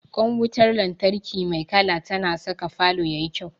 Ƙwan wutar lantarki mai kala tana saka falo ya yi kyau.